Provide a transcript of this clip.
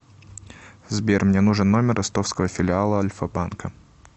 сбер мне нужен номер ростовского филиала альфа банка